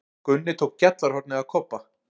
Gunni tók gjallarhornið af Kobba.